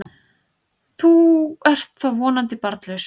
Þú ert þó vonandi barnlaus?